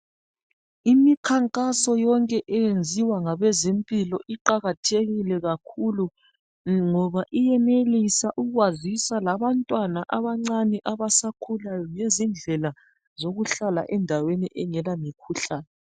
Imikhankaso yonke eyenziwa ngabezempilo iqakathekile kakhulu. Ngoba iyenelisa ukwazisa labantwana abancane abasakhulayo ngezindlela zokuhlala endaweni engela mikhuhlane